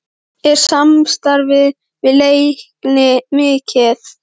Er samstarfið við Leikni mikið?